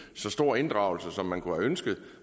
så stor inddragelse som man kunne have ønsket